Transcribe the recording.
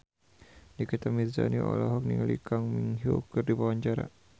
Nikita Mirzani olohok ningali Kang Min Hyuk keur diwawancara